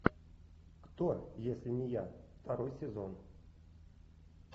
кто если не я второй сезон